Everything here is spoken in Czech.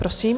Prosím.